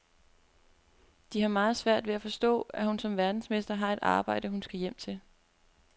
De har meget svært ved at forstå, at hun som verdensmester har et arbejde, hun skal hjem til.